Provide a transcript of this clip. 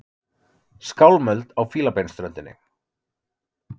Skálmöld á Fílabeinsströndinni